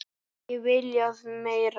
Ekki viljað meira.